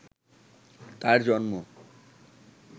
তার জন্ম